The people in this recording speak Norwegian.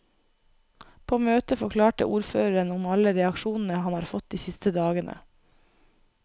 På møtet forklarte ordføreren om alle reaksjonene han har fått de siste dagene.